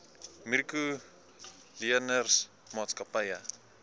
mikro leners maatskappye